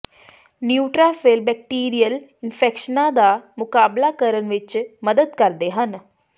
neutrophil bacterial ਇਨਫੈਕਸ਼ਨਾਂ ਦਾ ਮੁਕਾਬਲਾ ਕਰਨ ਵਿੱਚ ਮਦਦ ਕਰਦੇ ਹਨ